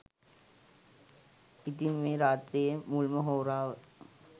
ඉතින් මේ රාත්‍රියේ මුල්ම හෝරාව